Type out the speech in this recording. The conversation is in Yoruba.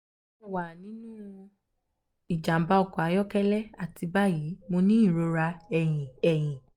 mo wa ninu ijamba ọkọ ayọkẹlẹ ati bayi mo ni irora ẹhin ẹhin